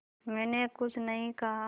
मैंने कुछ नहीं कहा